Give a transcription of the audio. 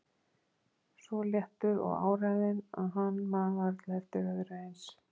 Svo léttur og áræðinn að hann man varla eftir öðru eins.